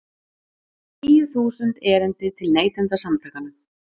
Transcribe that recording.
Tíu þúsund erindi til Neytendasamtakanna